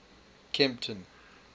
kempton